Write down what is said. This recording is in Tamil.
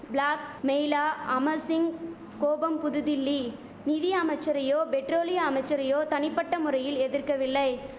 பிளாக் மெயிலா அமர் சிங் கோபம் புதுதில்லி நிதி அமைச்சரையோ பெட்ரோலிய அமைச்சரையோ தனிபட்ட முறையில் எதிர்க்கவில்லை